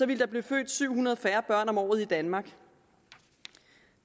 ville der blive født syv hundrede færre børn om året i danmark